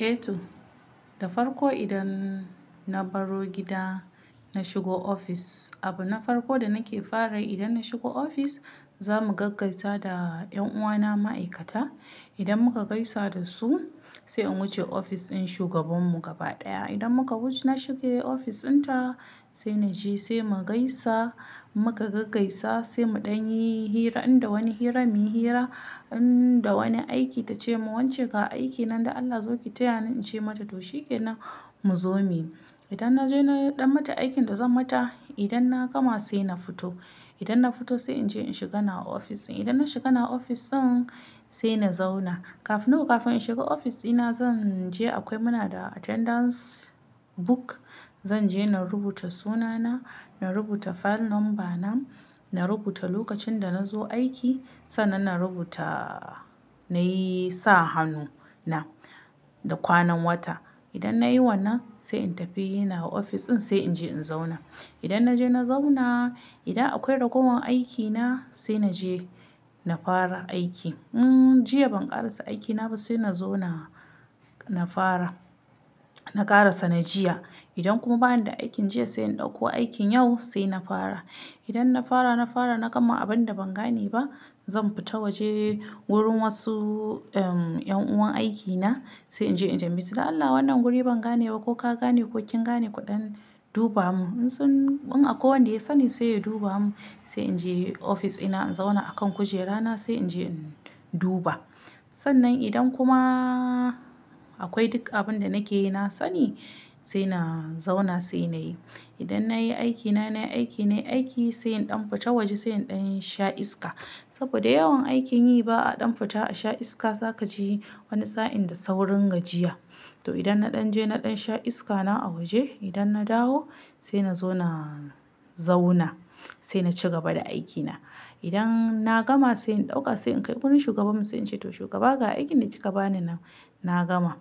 Eh to, da farko idan na baro gida na shigo ofis, abu na farko da nake fara yi idan na shigo ofis za mu gaggaisa da 'yan'uwana ma'aikata. Idan muka gaisa da su, sai in wuce ofis ɗin shugabanmu gaba ɗaya. Idan muka wuce na shiga ofis ɗinta sai na je sai mu gaisa, in muka gaggaisa sai muɗan yi hira, inda wani hira, muyi hira. Inda wani aiki ta ce mun "wance ga aikin nan da Allah zo ki taya ni in ce mata to shikenan mu zo muyi". Idan na je na ɗan mata aikin da zan mata, idan na gama sai na fito. Idan na fito sai in je in shiga nawa ofis ɗin. Idan na shiga nawa ofis din sai na zauna. Kafin no kafin in shiga ofis ɗina zan je akwai muna da attendance book, zan je na rubuta sunana, na rubuta file number na, na rubuta lokacin da na zo aiki. Sannan na rubuta nayi sa hannu na da kwanan wata. Idan nayi wannan sai in tafi nawa ofis ɗin sai in je in zauna. Idan na je na zauna, idan akwai ragowan aiki na sai na je na fara aiki. Hmm jiya ban ƙarasa aiki na ba sai na zo na, na fara. Na ƙarasa na jiya. Idan kuma bani da aikin jiya sai in ɗauko aikin yau sai na fara. Idan na fara, na fara na gama abin da ban gane ba, zan fita waje wurin wasu ehm yan'uwan aiki na sai in je in tambayesu "don Allah wannan guri ban gane ba ko ka gane ko kin gane kuɗan duba mun". In sun in akwai wanda ya sani sai ya duba mun sai in je ofis ina in zauna a kan kujera na sai in je in duba. Sannan idan kuma akwai duk abin da nake yi na sani sai na zauna sai na yi. Idan na yi aikina, nayi aiki, nayi aiki sai in ɗan fita waje sai in ɗan sha iska. Saboda yawan aikin yi ba a ɗan fita a sha iska zaka ji wani sa'in da saurin gajiya. To idan na ɗan je na ɗan sha iska na a waje, idan na dawo sai na zo na zauna. Sai na ci gaba da aiki na. Idan na gama sai in ɗauka sai in kai wurin shugaban mu sai in ce to "Shugaba ga aikin da kika bani nan, na gama".